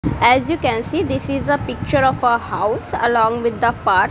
as you can see this is a picture of a house along with the park.